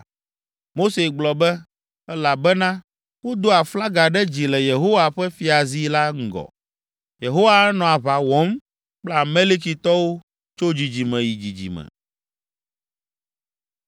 Mose gblɔ be, “Elabena wodo aflaga ɖe dzi le Yehowa ƒe fiazi la ŋgɔ, Yehowa anɔ aʋa wɔm kple Amalekitɔwo tso dzidzime yi dzidzime.”